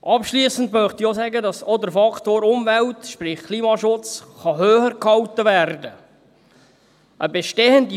Abschliessend möchte ich auch sagen, dass auch der Faktor Umwelt – sprich Klimaschutz – höhergehalten werden kann.